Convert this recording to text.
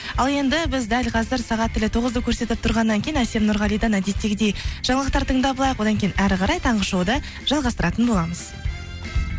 ал енді біз дәл қазір сағат тілі тоғызды көрсетіп тұрғаннан кейін әсел нұрғалидан әдеттегідей жаңалықтар тыңдап алайық одан кейін ары қарай таңғы шоуды жалғастыратын боламыз